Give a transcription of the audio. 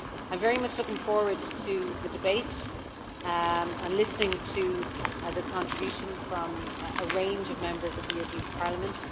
I am very much looking forward to the debate and listening to the contributions from a range of Members of the European Parliament.